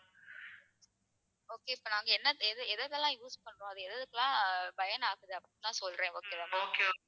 okay இப்ப நாங்க என்ன எது எதெல்லாம் use அது எதுக்கெல்லாம் பயன் ஆகுது அப்படின்னு எல்லாம் சொல்றேன் okay வா